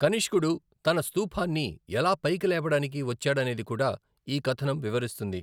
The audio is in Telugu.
కనిష్కుడు తన స్థూపాన్ని ఎలా పైకి లేపడానికి వచ్చాడనేది కూడా ఈ కథనం వివరిస్తుంది.